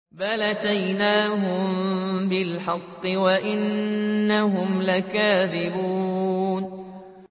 بَلْ أَتَيْنَاهُم بِالْحَقِّ وَإِنَّهُمْ لَكَاذِبُونَ